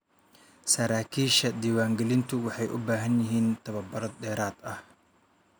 Saraakiisha diiwaangelintu waxay u baahan yihiin tababaro dheeraad ah.